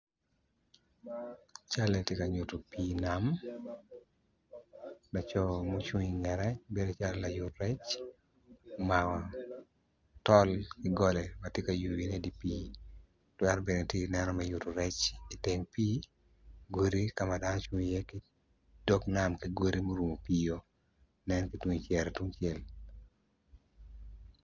Cal eni tye ka nyuto pii nam laco mucung i ngete bedo calo layut rec omako gitye i yeya dok gin gitye ka mako rec gin gitye ka tic ki goli ma odone tye mabit kun giyuto ki rec piny i kabedo.